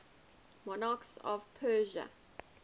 monarchs of persia